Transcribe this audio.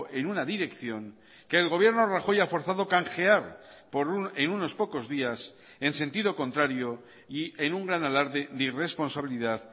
en una dirección que el gobierno rajoy ha forzado canjear en unos pocos días en sentido contrario y en un gran alarde de irresponsabilidad